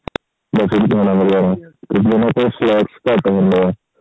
ਘੱਟ ਮਿਲਦਾ